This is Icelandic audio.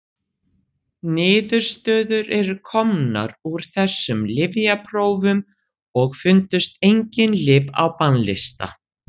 Niðurstöður eru komnar úr þessum lyfjaprófum og fundust engin lyf á bannlista.